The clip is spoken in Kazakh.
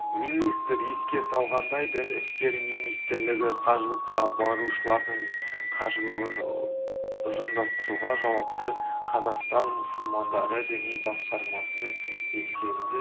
министр еске салғандай дін істері министрілігі қажылыққа барушылардың қажылығын ұйымдастыруға жауапты қазақстан мұсылмандары діни басқармасына белсенді